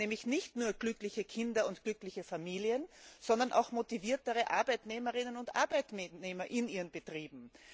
Nämlich nicht nur glückliche Kinder und glückliche Familien, sondern auch motiviertere Arbeitnehmer und Arbeitnehmerinnen in ihren Betrieben.